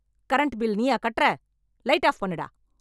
Current bill நீயா கட்ற, light off பண்ணு டா.